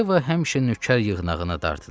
Yeva həmişə nökər yığınağına dartınır.